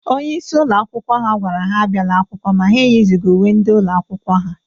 Onyeisi ụlọ akwụkwọ ha gwara ha abiala akwụkwọ ma ha eyizughi uwe ndị ụlọ akwụkwọ ha.